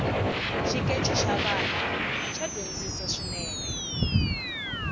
xikeche xa vana xa dyondzisi swinene